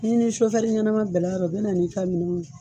N'i ni ɲɛnama bɛnn'a rɔ o bɛ na n'i ka minɛnw jiki.